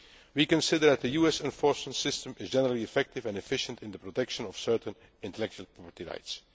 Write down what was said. We consider that the US enforcement system is generally effective and efficient in the protection of certain intellectual property